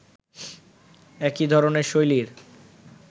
একই ধরনের শৈলীর